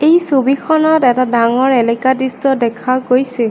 এই ছবিখনত এটা ডাঙৰ এলেকা দৃশ্য দেখা গৈছে।